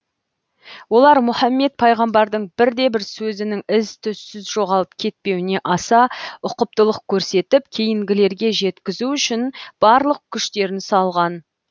олар мұхаммед пайғамбардың бірде бір сөзінің із түзсіз жоғалып кетпеуіне аса ұқыптылық көрсетіп кейінгілерге жеткізу үшін барлық күштерін салған